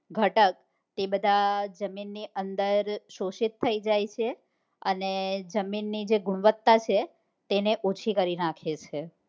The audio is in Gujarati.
ઘટક એ બધા જમીન ની અંદર શોષિત થઇ જાય છે અને જમીન ની જે ગુણવતા છે તે ઓછી કરી નાખે છે